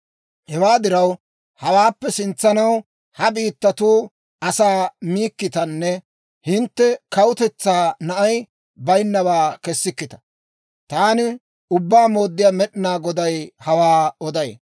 Hewaa diraw, hawaappe sintsanaw ha biittatuu asaa miikkitanne hintte kawutetsaa na'ay bayinnawaa kessikkita. Taani Ubbaa Mooddiyaa Med'inaa Goday hawaa oday.